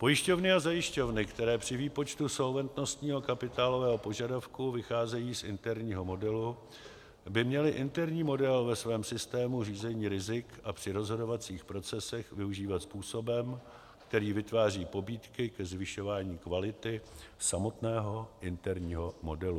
Pojišťovny a zajišťovny, které při výpočtu solventnostního kapitálového požadavku vycházejí z interního modelu, by měly interní model ve svém systému řízení rizik a při rozhodovacích procesech využívat způsobem, který vytváří pobídky ke zvyšování kvality samotného interního modelu.